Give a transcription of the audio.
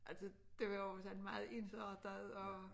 Altså det var jo sådan meget ensrettet og